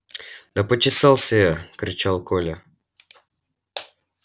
да почесался я кричал коля